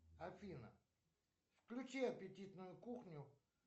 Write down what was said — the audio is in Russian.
афина включи аппетитную кухню